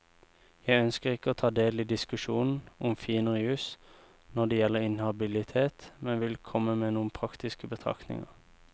Jeg ønsker ikke å ta del i diskusjonen om finere jus når det gjelder inhabilitet, men vil komme med noen praktiske betraktninger.